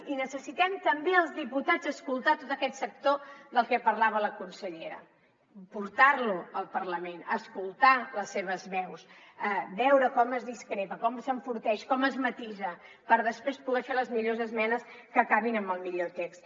i necessitem també els diputats escoltar tot aquest sector del que parlava la consellera portar lo al parlament escoltar les seves veus veure com es discrepa com s’enforteix com es matisa per després poder fer les millors esmenes que acabin amb el millor text